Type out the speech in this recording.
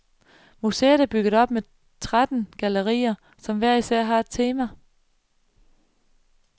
Museet er bygget op med tretten gallerier, som hver især har et tema.